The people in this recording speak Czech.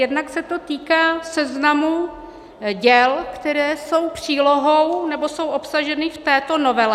Jednak se to týká seznamu děl, která jsou přílohou, nebo jsou obsažena v této novele.